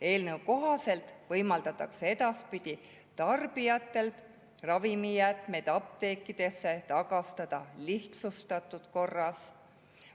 Eelnõu kohaselt võimaldatakse edaspidi tarbijatel ravimijäätmeid apteekidesse tagastada lihtsustatud korras.